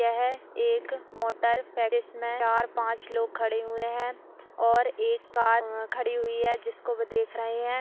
यह एक मोटर पैडिस में चार पांच लोग खड़े हुए हैं और एक कार खड़ी हुई है जिसको वह देख रहे हैं।